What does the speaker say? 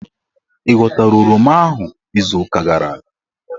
Ị ghọtara oroma ahụ izuuka gara aga?